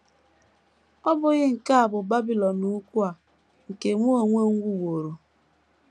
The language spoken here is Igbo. “ Ọ́ bụghị nke a bụ Babilọn Ukwu a, nke mụ onwe m wuworo? ”